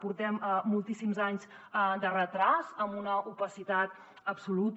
portem moltíssims anys de retard amb una opacitat absoluta